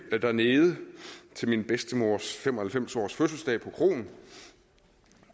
dernede til min bedstemors fem og halvfems årsfødselsdag på kroen